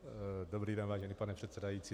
Dobrý den, vážený pane předsedající.